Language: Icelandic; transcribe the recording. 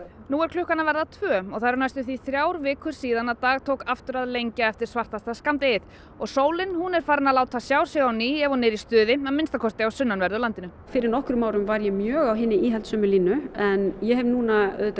nú er klukkan að verða tvö og það eru tæpar þrjár vikur síðan dag tók aftur að lengja eftir svartasta skammdegið og sólin hún er farin að láta sjá sig á ný ef hún er í stuði að minnsta kosti á sunnanverðu landinu fyrir nokkrum árum var ég mjög á hinni íhaldssömu línu en ég hef núna